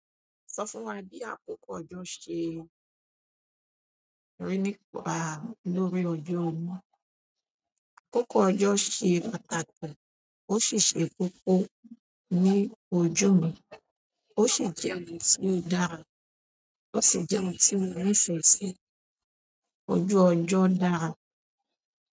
Sọ fún wa bí àkókò ọjọ́ ṣe rí nípa lórí ojú omi. Àkókò ọjọ́ ṣe pàtàkì, ó sì ṣe kókó ní ojú omi, ó sì jẹ́ ohun tí ó dára, ó sì jẹ́ ohun tí mo nifẹ si fún ojú ọjọ́ dára.